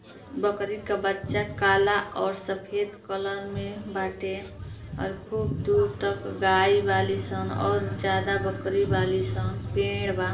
अ स बकरी क बच्चा काला और सफेद कलर में बाटे और खूब दूर तक गाय बाली सन और ज्यादा बकरी बाली सन पेड़ बा।